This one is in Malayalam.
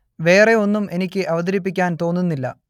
വേറെ ഒന്നും എനിക്ക് അവതരിപ്പിക്കാൻ തോന്നുന്നില്ല